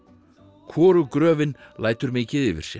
hvorug gröfin lætur mikið yfir sér